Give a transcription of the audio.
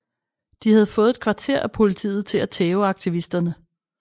De havde fået et kvarter af politiet til at tæve aktivisterne